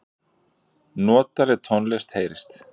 Notaleg tónlist heyrist.